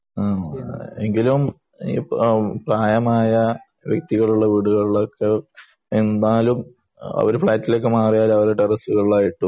എങ്കിലും പ്രായമായ വ്യക്തികളുള്ള വീടുകളിലൊക്കെ അവർ ഫ്ളാറ്റുകളിലൊക്കെ മാറിയാലും